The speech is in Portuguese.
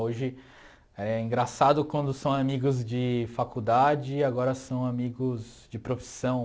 Hoje é engraçado quando são amigos de faculdade e agora são amigos de profissão.